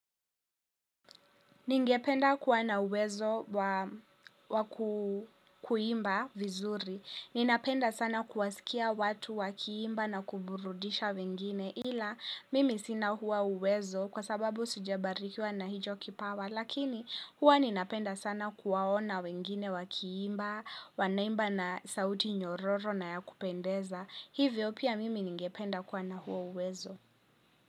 Ningependa kuwa na uwezo wa kuimba vizuri, ninapenda sana kuwasikia watu wakiimba na kuburudisha wengine, ila mimi sina huo uwezo kwa sababu sijabarikiwa na hicho kipawa, lakini huwa ninapenda sana kuwaona wengine wakiimba, wanaimba na sauti nyororo na ya kupendeza, hivyo pia mimi ningependa kuwa na huo uwezo.